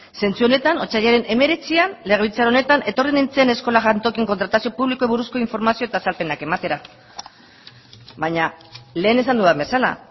sentsu honetan otsailaren hemeretzian legebiltzar honetan etorri nintzen eskola jantoki kontratazio publikoari buruzko informazio eta azalpenak ematera baina lehen esan dudan bezala